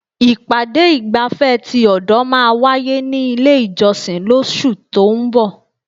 Ìpàdé ìgbafẹ́ ti ọ̀dọ̀ máà wáyé ní ilé ìjọsìn lóṣù tó ún bọ̀.